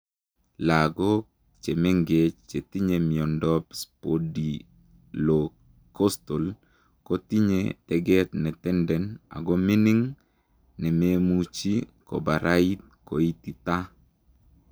Lagok chemengeech chetinye miondop spondylocostal kotinyee teget netenden ago mining nememuchii koparait koititaa.